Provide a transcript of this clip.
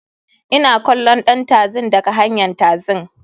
Ina kallon ɗan taxin daga hanyn taxin.